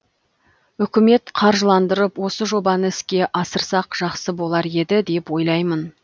үкімет қаржыландырып осы жобаны іске асырсақ жақсы болар еді деп ойлаймын